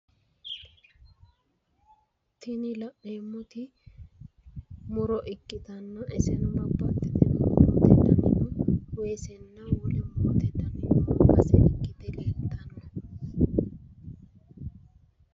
Tini la'neemmoti muri ikkitanno iseno babbaxitinno murotenna weesenna wole murote base noo gede ikkite leeltanno.